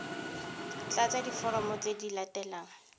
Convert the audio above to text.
tlatsa diforomo tse di latelang